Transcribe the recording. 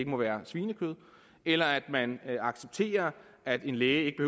må være svinekød eller at man accepterer at en læge ikke